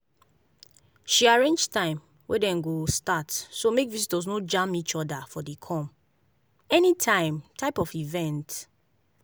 she arrange time wey dem go start so make visitors no jam each other for the come-anytime type of event.